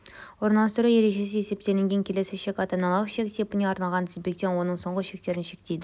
орналастыру ережесі есептелінген келесі шек ата аналық шек типіне арналған тізбектен оның соңғы шектерін шектейді